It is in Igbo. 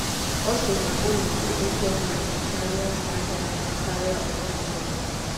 Ọ̀ sị̀: “Ùnù̀ dị oké ọnù̀ ahịa kàrè ahịa kàrè ọ̀tùtù̀ nzà.”